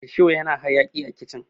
rusho yana hayaki a kicin